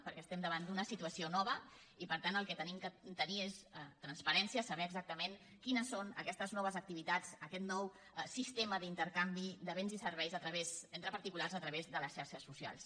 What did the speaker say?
perquè estem davant d’una situació nova i per tant el que hem de tenir és transparència saber exactament quines són aquestes noves activitats aquest nou sistema d’intercanvi de béns i serveis entre particulars a través de les xarxes socials